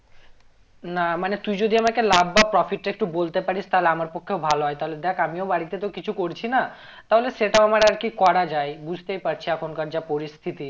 না মানে তুই যদি একটা লাভ বা profit টা একটু বলতে পারিস তাহলে আমার পক্ষে ভালো হয়ে তাহলে দেখ আমিও বাড়িতে তো কিছু করছি না তাহলে সেটাও আমার আর কি করা যায় বুঝতেই পারছি এখনকার যা পরিস্থিতি